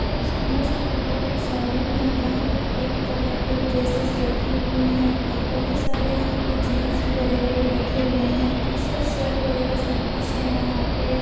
यह एक सुंदर-सा कपड़ों का शो रूम है जहां पे कही तरह के ड्रेसेस रखी हुई है। बहोत सारे यहां पे जीन्स वगेरा रखे हुए है टी-शर्ट शर्ट वगेरा सब कुछ है यहां पे --